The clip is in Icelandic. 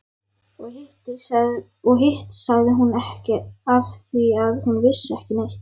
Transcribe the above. Og hitt sagði hún ekki afþvíað hún vissi ekki neitt.